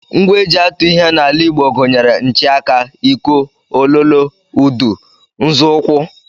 Ngwa e ji atụ ihe n'ala Igbo gụnyere nchịaka, iko, Ololo, udu, nzọụkwụ